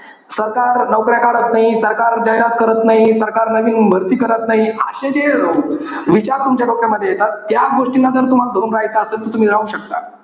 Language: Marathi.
सरकार नौकऱ्या काढत नाही. सरकार जाहिरात करत नाही. सरकार नवीन भरती करत नाही. अशे जे विचार तुमच्या डोक्यामध्ये येतात. त्या गोष्टींना जर तुम्हाला धरून राहायचं असेल तर तुम्ही राहू शकता.